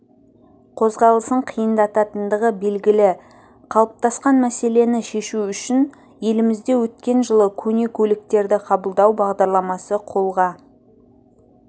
қозғалысын қиындататындығы белгілі қалыптасқан мәселені шешу үшін елімізде өткен жылы көне көліктерді қабылдау бағдараламасы қолға